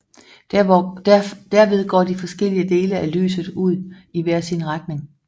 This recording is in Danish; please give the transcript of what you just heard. Derved går de forskellige dele af lyset ud i hver sin retning